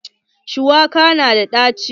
Shuwaka na da ɗaci.